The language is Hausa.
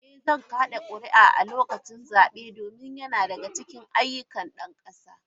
Eh, zan kada kuri’a a lokacin zabe domin yana daga cikin ayyukana na ɗan kasa.